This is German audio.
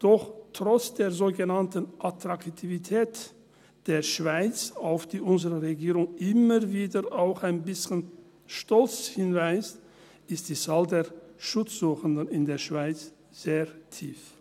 Doch trotz der sogenannten Attraktivität der Schweiz, auf die unsere Regierung immer wieder auch ein bisschen stolz hinweist, ist die Zahl der Schutzsuchenden in der Schweiz sehr tief.